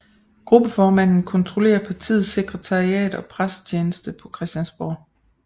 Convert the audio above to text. Gruppeformanden kontrollerer partiets sekretariat og pressetjeneste på Christiansborg